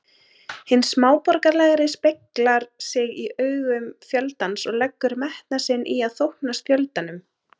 Hinn smáborgaralegi speglar sig í augum fjöldans og leggur metnað sinn í að þóknast fjöldanum.